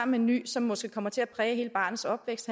med en ny som måske kommer til at præge hele barnets opvækst